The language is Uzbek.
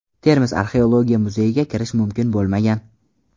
Termiz Arxeologiya muzeyiga kirish mumkin bo‘lmagan.